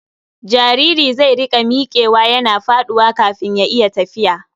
Jariri zai riƙa miƙewa yana faɗuwa kafin ya iya tafiya.